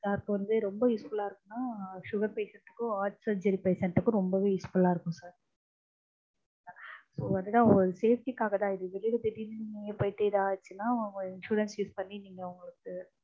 யார்க்கு வந்து ரொம்ப useful லா இருக்கும்னா sugar patient க்கும் heart surgery patient க்கும் ரொம்பவே useful லா இருக்கும் sir அதுதா ஒரு safety காகதா. வெளில திடீர்னு எங்கேயோ போய்ட்டு ஏதாச்சுனா உங்க insurance use பண்ணி நீங்க